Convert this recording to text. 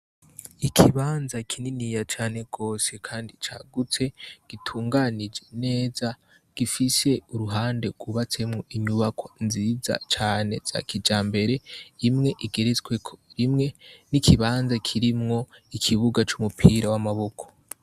Ikibanza kininiya cane rwose, kandi cagutse gitunganije neza gifise uruhande rwubatsemwo inyubako nziza cane za kija mbere imwe igeresweko rimwe n'ikibanza kirimwo ikibuga c'umupira w'amaboko.